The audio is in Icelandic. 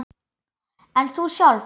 En þú sjálf?